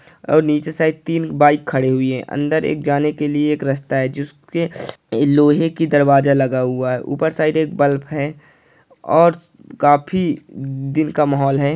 और नीचे साइड तीन बाइक खड़ी हुई हैं अंदर एक जाने के लिए एक रास्ता है जिसके लोहे की दरवाजा लगा हुआ है ऊपर साइड एक बल्ब है और काफी दिन का माहौल है।